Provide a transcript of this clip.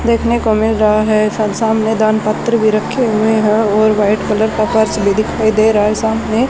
देखने को मिल रहा है सामने दान पत्र भी रखे हुए हैं और वाइट कलर का पर्स भी दिखाई दे रहा है सामने --